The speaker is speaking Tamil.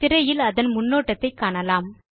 திரையில் அதன் முன்னோட்டத்தை காணலாம்